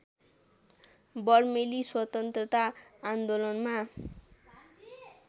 बर्मेली स्वतन्त्रता आन्दोलनमा